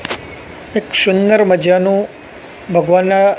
એક સુંદર મજાનું ભગવાનના--